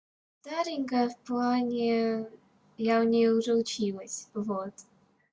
старенькая в плане я у неё уже училась вот